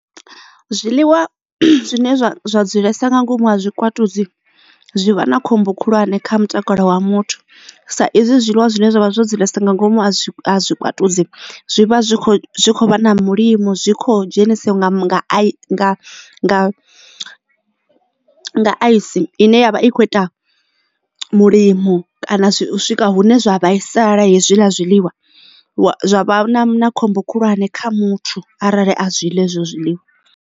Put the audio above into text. Zwiḽiwa zwine zwa zwa dzulesa nga ngomu ha tshikwatudzi zwi vha na khombo khulwane kha mutakalo wa muthu sa izwi zwiḽiwa zwine zwavha zwo dzulesa nga ngomu ha tshikwatudzi zwi vha zwi kho zwi kho vha na mulimo zwi kho dzhenisaho nga nga a ice ine yavha i kho ita mulimo kana swika hune zwa vhaisala hezwiḽa zwiḽiwa zwa na khombo khulwane kha muthu arali a zwi ḽa hezwo zwiḽiwa.